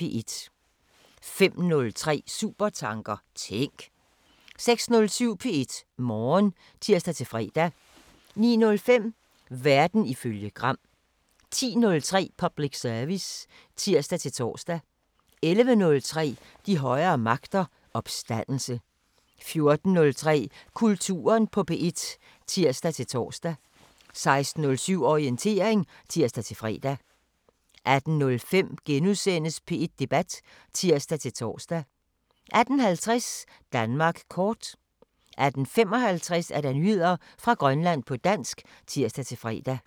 05:03: Supertanker: Tænk! 06:07: P1 Morgen (tir-fre) 09:05: Verden ifølge Gram 10:03: Public service (tir-tor) 11:03: De højere magter: Opstandelse 14:03: Kulturen på P1 (tir-tor) 16:07: Orientering (tir-fre) 18:05: P1 Debat *(tir-tor) 18:50: Danmark kort 18:55: Nyheder fra Grønland på dansk (tir-fre)